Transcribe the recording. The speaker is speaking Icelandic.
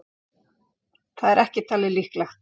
Það er ekki talið líklegt.